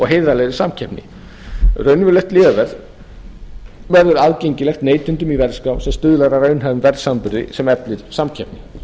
heiðarlegri samkeppni raunverulegt lyfjaverð verður aðgengilegt neytendum í verðskrá sem stuðlar að raunhæfum verðsamanburði sem eflir samkeppni